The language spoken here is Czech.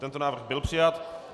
Tento návrh byl přijat.